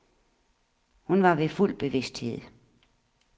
Hun var ved fuld bevidsthed.